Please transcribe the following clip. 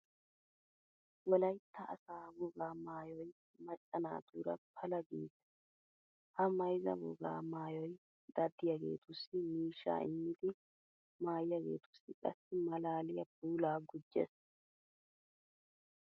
Wolaytta asaa wogaa maayoy macca naatuura pala giigees. Ha mayzza wogaa maayoy daddiyageetussi miishshaa immidi maayiyageetussi qassi maalaaliya puulaa gujjees.